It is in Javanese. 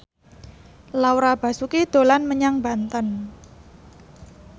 Laura Basuki dolan menyang Banten